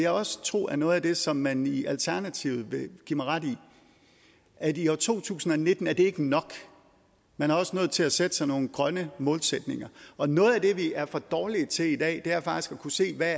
også tro er noget af det som man i alternativet vil give mig ret i at i år to tusind og nitten er det ikke nok man er også nødt til at sætte sig nogle grønne målsætninger og noget af det vi er for dårlige til i dag er faktisk at kunne se hvad